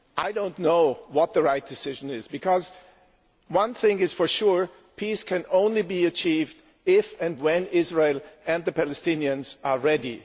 I do not know what the right decision is, because one thing for sure is that peace can only be achieved if and when Israel and the Palestinians are ready.